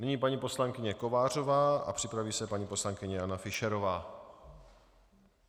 Nyní paní poslankyně Kovářová a připraví se paní poslankyně Jana Fischerová.